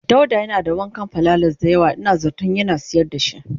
dauda Yana da wukan pilalas daya yawa in zaton Yana sayar dashi.